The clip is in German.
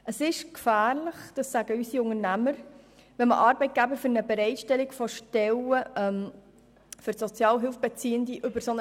Es ist gefährlich – dies sagen unsere Unternehmer –, wenn man Arbeitgeber mit einem Mindestlohn eher davon abschreckt, Stellen für Sozialhilfebeziehende bereitzustellen.